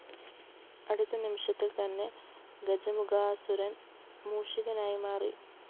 അടുത്ത നിമിഷത്തില്‍ തന്നെ ഗജമുഖാസുരന്‍ മൂഷികനായി മാറി